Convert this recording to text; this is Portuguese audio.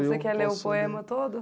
Você quer ler o poema todo?